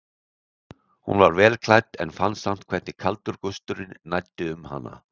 Hún var vel klædd en fann samt hvernig kaldur gusturinn næddi um hana.